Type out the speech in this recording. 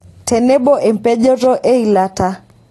Tenebo empejoto eilata.